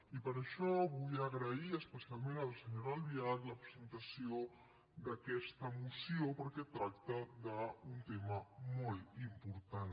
i per això vull agrair especialment a la senyora albiach la presentació d’aquesta moció perquè tracta d’un tema molt important